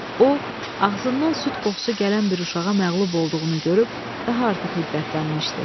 O, ağzından süd qoxusu gələn bir uşağa məğlub olduğunu görüb daha artıq hiddətlənmişdi.